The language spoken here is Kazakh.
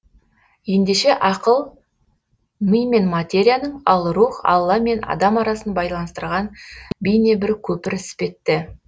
ендеше ақыл ми мен материяның ал рух алла мен адам арасын байланыстырған бейне бір көпір іспетті